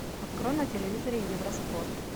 открой на телевизоре евро спорт